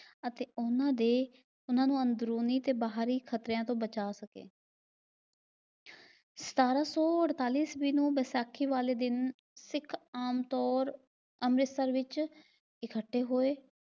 ਅਤੇ ਉਹਨਾਂ ਦੇ ਉਹਨਾਂ ਨੂੰ ਅੰਦਰੂਨੀ ਤੇ ਬਾਹਰੀ ਖ਼ਤਰਿਆਂ ਤੋਂ ਬਚਾ ਸਕੇ। ਸਤਾਰਾਂ ਸੌ ਅਡਤਾਲੀ ਈਸਵੀ ਨੂੰ ਵਿਸਾਖੀ ਵਾਲੇ ਦਿਨ ਸਿੱਖ ਆਮ ਤੌਰ ਅੰਮ੍ਰਿਤਸਰ ਵਿਚ ਇਕੱਠੇ ਹੋਏ